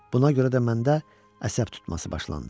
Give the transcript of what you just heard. Buna görə də məndə əsəb tutması başlandı.